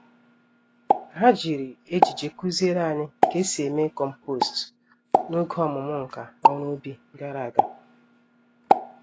Ha jiri ejije kuziere anyị K'esi eme kompost n'oge ọmụmụ nka-oru-ubi gàrà ágá.